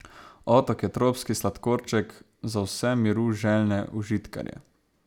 Otok je tropski sladkorček za vse miru željne užitkarje.